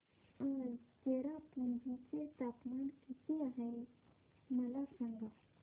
आज चेरापुंजी चे तापमान किती आहे मला सांगा